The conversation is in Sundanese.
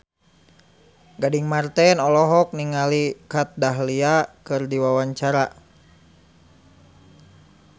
Gading Marten olohok ningali Kat Dahlia keur diwawancara